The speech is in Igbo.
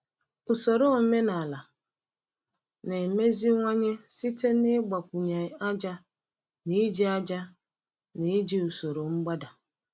Usoro omenala na-emeziwanye site n’ịgbakwunye ájá na iji ájá na iji usoro mgbada.